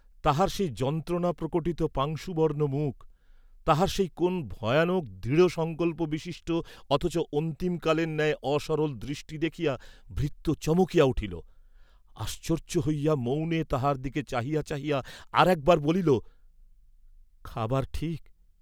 তাঁহার সেই যন্ত্রণা প্রকটিত পাংশুবর্ণ মুখ, তাঁহার সেই কোন ভয়ানক দৃঢ়সঙ্কল্পবিশিষ্ট অথচ অন্তিমকালের ন্যায় অসরল দৃষ্টি দেখিয়া ভৃত্য চমকিয়া উঠিল, আশ্চর্য হইয়া মৌনে তাঁহার দিকে চাহিয়া চাহিয়া আর একবার বলিল, "খাবার ঠিক।"